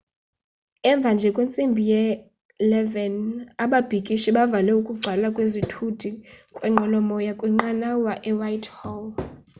emva nje kwentsimbi ye-11 00 ababhikishi bavale ukugcwala kwezithuthi kwinqwelomoya kwinqanawa ewhitehall